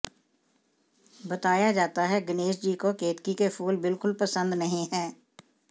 बताया जाता है गणेश जी को केतकी के फूल बिल्कुल पसंद नहीं है